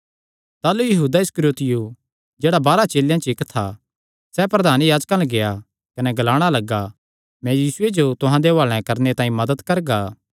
ताह़लू यहूदा इस्करियोती जेह्ड़ा बाराह चेलेयां च इक्क था यीशुये जो तिन्हां दे हुआले करणे तांई प्रधान याजकां अल्ल गेआ